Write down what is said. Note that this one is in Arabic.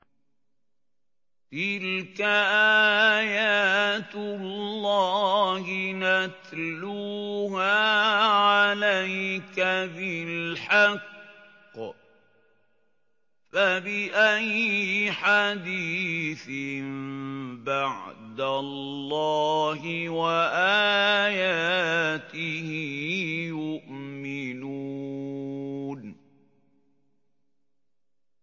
تِلْكَ آيَاتُ اللَّهِ نَتْلُوهَا عَلَيْكَ بِالْحَقِّ ۖ فَبِأَيِّ حَدِيثٍ بَعْدَ اللَّهِ وَآيَاتِهِ يُؤْمِنُونَ